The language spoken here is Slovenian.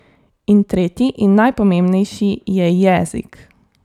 In tretji in najpomembnejši je jezik.